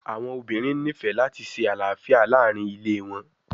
Awọn obinrin nifẹ lati ṣe alafia laarin ile wọn